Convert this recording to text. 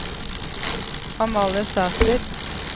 Amalie Sæter